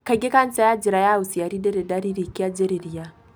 Kaingĩ cancer ya njĩra ya ũciari ndĩri dariri kĩanjĩrĩria.